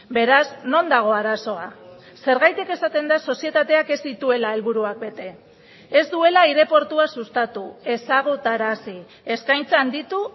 beraz non dago arazoa zergatik esaten da sozietateak ez dituela helburuak bete ez duela aireportua sustatu ezagutarazi eskaintza handitu